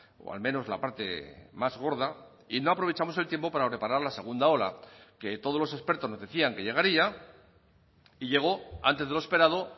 o al menos la parte más gorda y no aprovechamos el tiempo para reparar la segunda ola que todos los expertos nos decían que llegaría y llegó antes de lo esperado